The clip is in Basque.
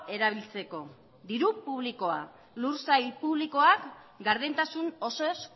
erabiltzeko diru publikoak lur sail publikoak gardentasun osoz